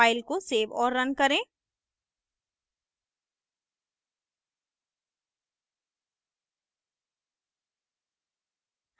file को save और run करें